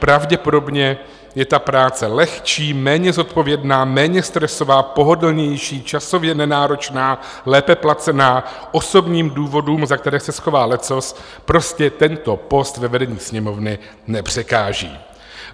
Pravděpodobně je ta práce lehčí, méně zodpovědná, méně stresová, pohodlnější, časově nenáročná, lépe placená - osobním důvodům, za které se schová leccos, prostě tento post ve vedení Sněmovny nepřekáží.